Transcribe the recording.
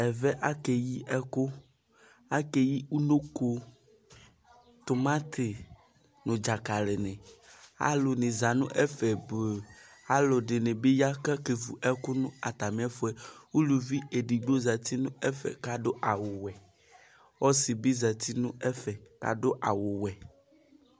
Ɛvɛ akeyi ɛkʋ Akeyi unoko, tʋmati nʋ dzakali ni Alu ni zǝti nʋ ɛfe ɔbʋ Alu ɛdɩnɩ bɩ ya kʋ akevu ɛkʋ nʋ atamiɛfʋɛ Uluvi edigbo zǝti nʋ ɛfɛ kʋ adu awuwɛ Ɔsɩ bɩ zǝti nʋ ɛfɛ kʋ adu awuwɛ